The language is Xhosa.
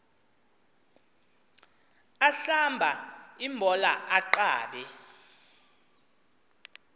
ahlamba imbola aqabe